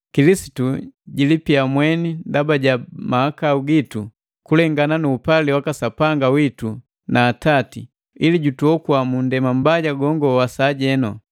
Kilisitu jilipia mweni ndaba ja mahakau gitu kulengana nu upali waka Sapanga witu na Atati, ili jutuoko mundema mbaja gongo wa sajenu.